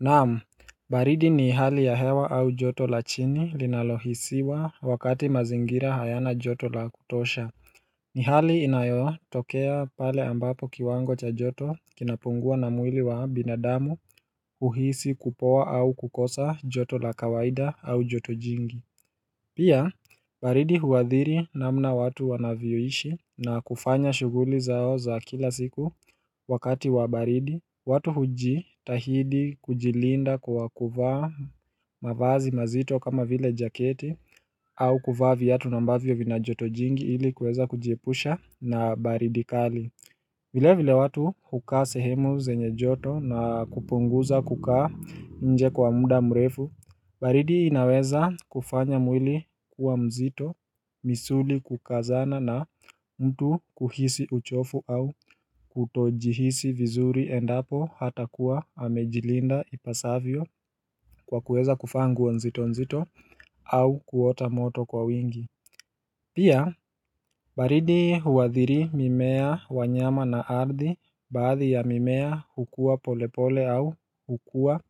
Naam, baridi ni hali ya hewa au joto la chini linalohisiwa wakati mazingira hayana joto la kutosha ni hali inayo tokea pale ambapo kiwango cha joto kinapungua na mwili wa binadamu uhisi kupoa au kukosa joto la kawaida au joto jingi Pia baridi huadhiri na mna watu wanavyoishi na kufanya shuguli zao za kila siku wakati wa baridi watu huji tahidi kujilinda kwa kuvaa mavazi mazito kama vile jaketi au kuvaa viatu na ambavyo vina joto jingi ili kuweza kujiepusha na baridi kali vile vile watu hukaa sehemu zenye joto na kupunguza kukaa nje kwa muda mrefu baridi inaweza kufanya mwili kuwa mzito, misuli kukazana na mtu kuhisi uchofu au kutojihisi vizuri endapo hata kuwa amejilinda ipasavyo kwa kuweza kuvaa nguo nzito nzito au kuota moto kwa wingi Pia baridi huwadhiri mimea wanyama na ardi baadhi ya mimea hukua polepole au hukua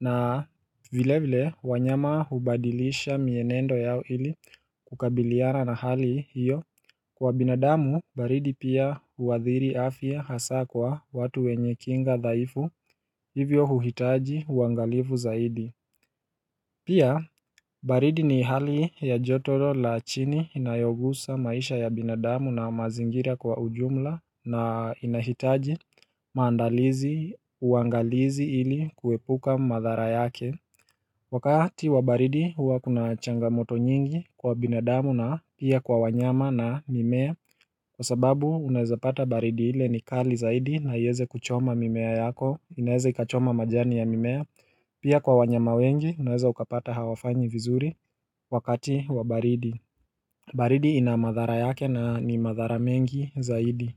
na vile vile wanyama hubadilisha mienendo yao ili kukabiliana na hali hiyo Kwa binadamu baridi pia huwadhiri afya hasa kwa watu wenye kinga dhaifu hivyo huhitaji uangalifu zaidi Pia, baridi ni hali ya joto lo la chini inayogusa maisha ya binadamu na mazingira kwa ujumla na inahitaji maandalizi uangalizi ili kuepuka madhara yake. Wakati wa baridi huwa kuna changamoto nyingi kwa binadamu na pia kwa wanyama na mimea. Kwa sababu, unaeza pata baridi ile ni kali zaidi na ieze kuchoma mimea yako, inaeza kachoma majani ya mimea. Pia kwa wanyama wengi unaweza ukapata hawafanyi vizuri wakati wa baridi baridi ina madhara yake na ni madhara mengi zaidi.